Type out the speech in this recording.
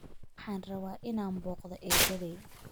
Waxaan rabaa inaan booqdo eeddaday